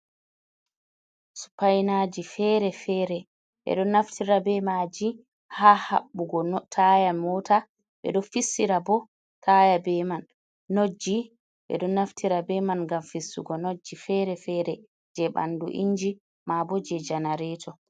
Supainaji fere-fere ɓeɗo naftira be maji haɓɓugo taya mota ɓeɗo fissira bo taya be man, notji ɓeɗo naftira be man gam fissugo notji fere fere je ɓandu inji mabo je janareto.